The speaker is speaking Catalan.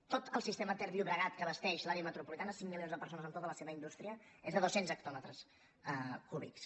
tot el sistema ter llobregat que abasteix l’àrea metropolitana cinc milions de persones amb tota la seva indústria és de dos cents hectòmetres cúbics